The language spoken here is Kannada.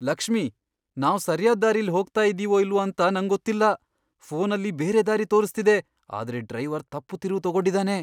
ಲಕ್ಷ್ಮಿ, ನಾವ್ ಸರ್ಯಾದ್ ದಾರಿಲಿ ಹೋಗ್ತಾ ಇದೀವೋ ಇಲ್ವೋ ಅಂತ ನಂಗೊತ್ತಿಲ್ಲ. ಫೋನಲ್ಲಿ ಬೇರೆ ದಾರಿ ತೋರಿಸ್ತಿದೆ, ಆದ್ರೆ ಡ್ರೈವರ್ ತಪ್ಪು ತಿರುವು ತಗೊಂಡಿದಾನೆ.